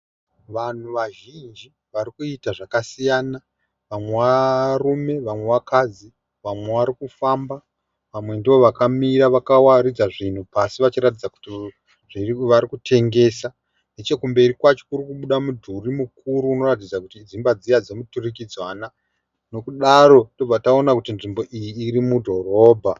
Vanhu vazhinji varikuita zvakasiyana vamwe varume vamwe vakadzi vamwe varikufamba vamwe ndivo vakamira vakawaridza zvinhu pasi vachiratidza kuti varikutengesa nechekumberi kwacho kurikubuda mudhuri mukuru unoratidza kuti dzimba dziya dzemuturikidzanwa nekudaro tobva taona kuti nzvimbo iyi irimudhorobha.